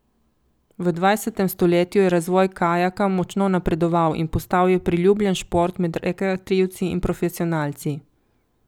V dvajsetem stoletju je razvoj kajaka močno napredoval in postal je priljubljen šport med rekreativci in profesionalci.